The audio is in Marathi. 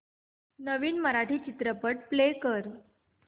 नवीन मराठी चित्रपट प्ले कर